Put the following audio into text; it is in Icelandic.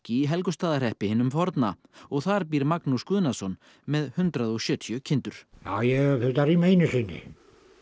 í Helgustaðahreppi hinum forna og þar býr Magnús Guðnason með hundrað og sjötíu kindur já ég hef þurft að rýma einu sinni